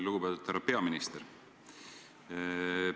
Lugupeetud härra peaminister!